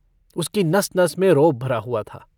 उसकी नस-नस में रोब भरा हुआ था।